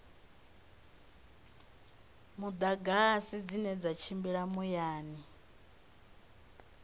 mudagasi dzine dza tshimbila muyani